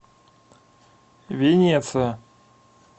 венеция